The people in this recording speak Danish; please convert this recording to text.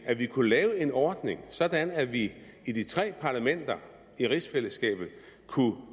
at vi kunne lave en ordning sådan at vi i de tre parlamenter i rigsfællesskabet kunne